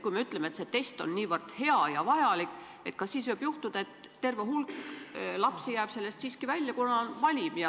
Kui me ütleme, et see test on niivõrd hea ja vajalik, siis kas võib juhtuda, et terve hulk lapsi jääb siiski kõrvale, kuna on valim?